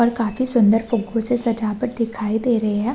और काफी सुन्दर फूग्गो से सजावट दिखाई दे रही है।